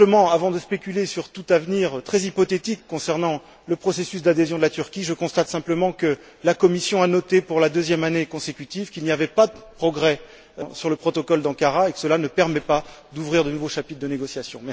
Avant de spéculer sur tout avenir très hypothétique concernant le processus d'adhésion de la Turquie, je constate simplement que la Commission a noté, pour la deuxième année consécutive, qu'il n'y avait pas de progrès sur le protocole d'Ankara et que cela ne permettait pas d'ouvrir de nouveaux chapitres de négociation.